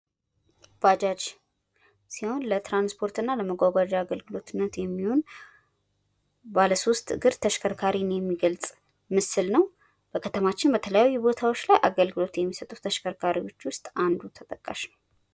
ባጃጅ ሲሆን ለትራንስፖርትና ለመጓጓዣ አገልግሎትነት የሚውል ባለ ሶስት እግር ተሽከርካሪን የሚገልጽ ምስል ነው። በከተማችን በተለያዩ ቦታዎች ላይ አገልግሎት ከሚሰጡ ተሽከርካሪዎች ውስጥ ተጠቃሽ ነው።